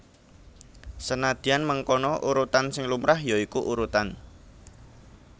Senadyan mengkono urutan sing lumrah ya iku urutan